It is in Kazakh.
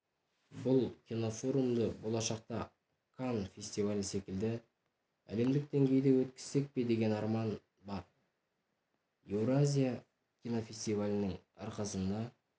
бұл кинофорумды болашақта канн фестивалі секілді әлемдік деңгейде өткізсек пе деген арман бар еуразия фестивалінің арқасында